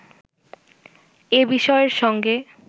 এ বিষয়ের সঙ্গে